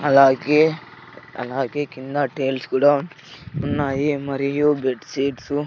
అలాగే అలాగే కింద టైల్స్ కూడా ఉన్నాయి మరియు బెడ్ సీట్స్ --